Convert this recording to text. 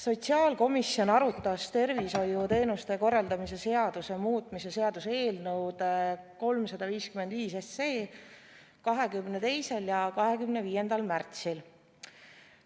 Sotsiaalkomisjon arutas tervishoiuteenuste korraldamise seaduse muutmise seaduse eelnõu 355 22. ja 25. märtsil.